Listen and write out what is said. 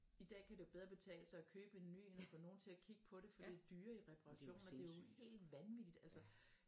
I dag kan det jo bedre betale at købe en ny end at få nogen til at kigge på det for de dyre i reperationer det er jo helt vanvittigt altså